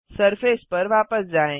surface पर वापस जाएँ